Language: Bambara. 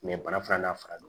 bana filanan n'a farala